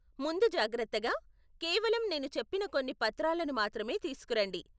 ముందుజాగ్రత్తగా, కేవలం నేను చెప్పిన కొన్ని పత్రాలను మాత్రమే తీసుకురండి.